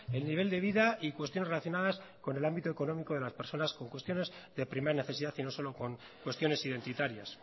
el nivel de vida y cuestiones relacionadas con el ámbito económico de las personas con cuestiones de primera necesidad y no solo con cuestiones identitarias